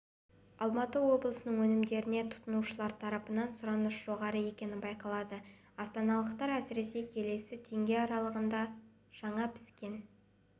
алматы облысының өнімдеріне тұтынушылар тарапынан сұраныс жоғары екені байқалады астаналықтар әсіресе келісі теңге аралығындағы жаңа піскен